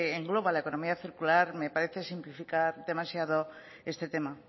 engloba la economía circular me parece simplificar demasiado este tema